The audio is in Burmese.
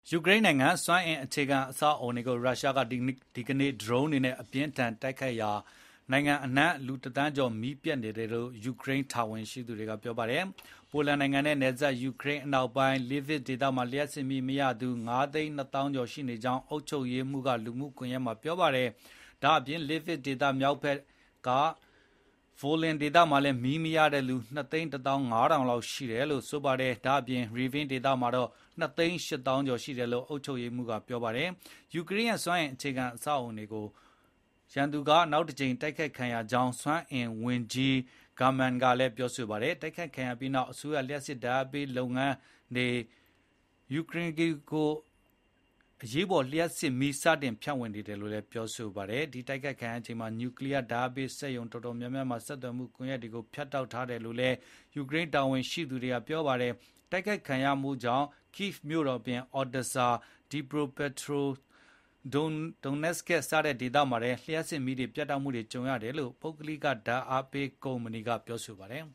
ယူကရိန်းနိုင်ငံ စွမ်းအင်အခြေခံအဆောက်အအုံတွေကို ရုရှားက ဒီကနေ့ ဒရုန်းတွေနဲ့ အပြင်းအထန် တိုက်ခိုက်ခဲ့ရာကနိုင်ငံအနှံ့ လူတသန်းကျော် မီးပြတ်နေတယ်လို့ ယူကရိန်းတာဝန်ရှိသူတွေက ပြောပါတယ်။ ပိုလန်နိုင်ငံနဲ့နယ်စပ် ယူကရိန်းအနောက်ပိုင်း Lviv ဒေသမှာ လျှပ်စစ်မီးမရသူ ၅၂၃,၀၀၀ ရှိနေကြောင်း အုပ်ချုပ်ရေးမှူး Maksym Kozytsky က လူမှုကွန်ရက်မှာ ပြောခဲ့တာပါ။ Lviv ဒေသ မြောက်ဖက်က Volyn မှာ မီးမရတဲ့သူ ၂၁၅,၀၀၀ နဲ့ ကပ်လျက်ရှိနေတဲ့ Rivne ဒေသမှာ တော့ ၂၈၀,၀၀၀ ရှိတယ်လို့လည်း အုပ်ချုပ်ရေးမှူး Oleksandr Koval ကပြောပါတယ်။ ယူကရိန်းရဲ့ စွမ်းအင်အခြေခံအဆောက်အုံတွေကို နောက်တကြိမ် ရန်သူတိုက်ခိုက်ခံရကြောင်း စွမ်းအင်ဝန်ကြီး German Galushchenko ကလည်း ပြောဆိုခဲ့တာပါ။ တိုက်ခိုက်ခံရပြီးနောက် အစိုးရ လျှပ်စစ်ဓာတ် အားပေးလုပ်ငန်း Ukrenergo က အရေးပေါ် လျှပ်စစ်မီး စတင်ဖြန့်ဝေနေတယ်လို့လည်း ပြောပါတယ်။ တိုက်ခိုက်ခံရချိန်မှာ နျူကလီးယားဓာတ်အားပေး စက်ရုံတော်တော်များများမှာ ဆက်သွယ်မှု ကွန်ရက်တွေကို ဖြတ်တောက်ထားခဲ့တယ်လို့လည်း ယူကရိန်းတာဝန်ရှိသူတွေက ပြောပါတယ်။ တိုက်ခိုက်ခံရမှုကြောင့် Kyiv မြို့တော်အပြင်Odesa, Dnipropetrovsk နဲ့ Donetsk ဒေသတွေမှာ လျှပ်စစ်မီးပြတ်တောက်ခဲ့ရတယ်လို့လည်း ပုဂ္ဂလိက လျှပ်စစ်ဓာတ်အားပေး ကုမ္ပဏီ DTEK က ပြောပါတယ်